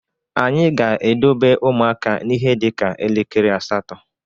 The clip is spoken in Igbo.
Anyị ga-edobe ụmụaka n’ihe dị ka elekere asatọ